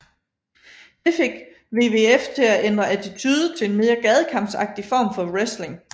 Det fik WWF til at ændre attitude til en mere gadekampsagtig form for wrestling